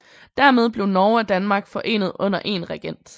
Dermed blev Norge og Danmark forenet under en regent